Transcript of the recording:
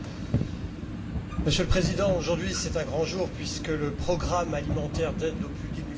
Monsieur le Président, aujourd'hui c'est un grand jour puisque le programme alimentaire d'aide aux plus démunis a été sauvé.